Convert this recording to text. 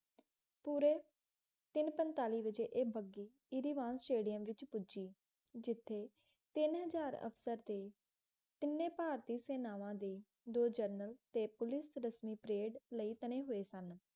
ਪੂਰੇ ਤਿੰਨ ਪੰਤਾਲੀ ਵਜੇ ਇਹ ਬੱਘੀ ਇਰਵਿਨ ਸਟੇਡੀਅਮ ਵਿੱਚ ਪੁੱਜੀ ਜਿੱਥੇ ਤਿੰਨ ਹਜ਼ਾਰ ਅਫਸਰ ਤੇ ਤਿੰਨੇ ਭਾਰਤੀ ਸੇਨਾਵਾਂ ਦੇ ਅਫਸਰ ਦੋ ਜਰਨਲ ਤੇ ਪੁਲਿਸ ਰਸਮੀਂ ਪਰੇਡ ਲਈ ਤਣੇ ਹੋਏ ਸਨ